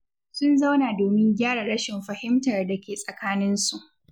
Sun zauna domin gyara rashin fahimtar da ke tsakaninsu.